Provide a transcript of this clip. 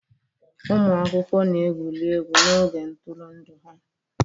Ụmụ akwụkwọ na-egwuri egwu n'oge ntụrụndụ ha